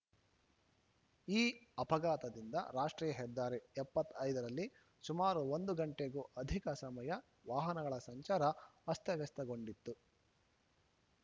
ಈ ಅಪಘಾತದಿಂದ ರಾಷ್ಟ್ರೀಯ ಹೆದ್ದಾರಿ ಎಪ್ಪತ್ತ್ ಐದ ರಲ್ಲಿ ಸುಮಾರು ಒಂದು ಗಂಟೆಗೂ ಅಧಿಕ ಸಮಯ ವಾಹನಗಳ ಸಂಚಾರ ಅಸ್ತವ್ಯಸ್ತಗೊಂಡಿತ್ತು